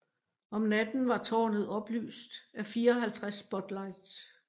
Om natten var tårnet oplyst af 54 spotlights